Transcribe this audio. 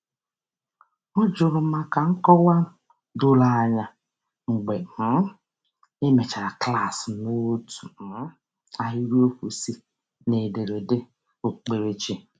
Ọ juru maka nkọwa doro anya mgbe um e mechara klaasị n'otu um ahịrịokwu si n'ederede okpukperechi.